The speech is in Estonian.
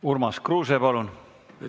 Urmas Kruuse, palun!